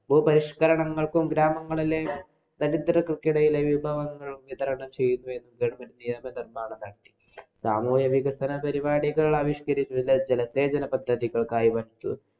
ഭൂപരിഷ്കരണങ്ങള്‍ക്കും ഗ്രാമങ്ങളിലെ ദരിദ്രര്‍ക്കിടയിലെ വിഭവങ്ങള്‍ വിതരണം ചെയ്യുകയും സാമൂഹിക വികസന പരിപാടികള്‍ ആവിഷ്കരിച്ചു ജലസേചന പദ്ധതികള്‍ക്കായി